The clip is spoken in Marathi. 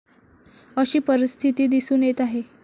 अशी परिस्थिती दिसून येत आहे.